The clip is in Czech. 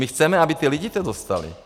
My chceme, aby to ti lidé dostali.